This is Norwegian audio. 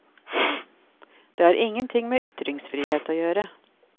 Det har ingenting med ytringsfrihet å gjøre.